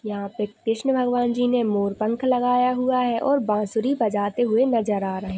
यहाँ पे कृष्ण भगवान जी ने मोर पंख लगाया हुआ है और बांसुरी बजाते हुए नजर आ रहे--